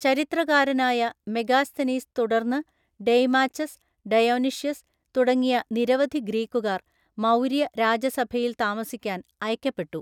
ചരിത്രകാരനായ മെഗാസ്തനീസ് തുടര്‍ന്ന് Deimachus, Dionysius തുടങ്ങിയ നിരവധി ഗ്രീക്കുകാര്‍ മൗര്യ രാജസഭയില്‍ താമസിക്കാന്‍ അയക്കപ്പെട്ടു.